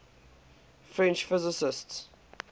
french physicists